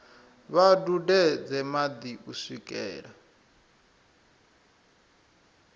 vha dudedze madi u swikela